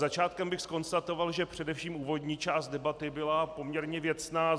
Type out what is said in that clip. Začátkem bych zkonstatoval, že především úvodní část debaty byla poměrně věcná.